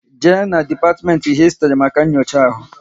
Jee na depatiment Histri maka nyocha ahụ!